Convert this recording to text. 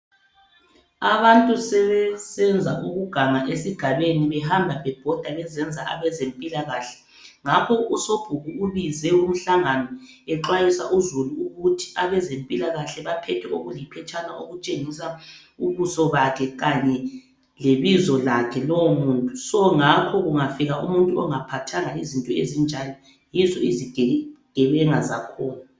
Abantu sebesenza ukuganga esigabeni behamba bebhoda bezenza abezempilakahle. Ngakho usobhuku ubuze umhlangano exwayisa uzulu ukuthi abezempilakahle baphethe okuliphetshana okutshengisa ubuso bakhe kanye lebizo lakhe lowomuntu. So, ngakho kungafika umuntu ongaphathanga izinto ezinjalo yizo izigebenga zakhona.